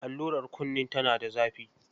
Allurar kunin tana da zafi.